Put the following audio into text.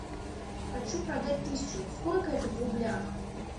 хочу продать тысячу сколько это в рублях